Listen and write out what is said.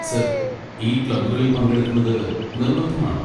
Sir, ഈ ക്ലബ്ബുകളിൽ പങ്കെടുക്കുന്നത് നിർബന്ധമാണോ?